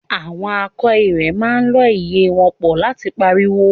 Àwọn akọ ìrẹ̀ máa ń lọ́ ìyẹ́ wọn pọ̀ láti pariwo